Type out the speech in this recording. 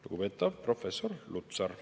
Lugupeetav professor Lutsar!